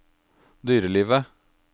dyrelivet